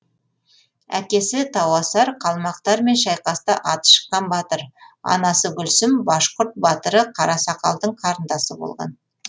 әкесі тауасар қалмақтармен шайқаста аты шыққан батыр анасы гүлсім башқұрт батыры қарасақалдың қарындасы болған